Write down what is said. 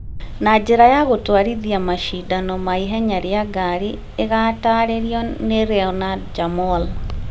na njĩra ya gũtwarithĩria macindano ma ihenya rĩa ngari ĩgataarĩrio nĩ Renaud Jamoul.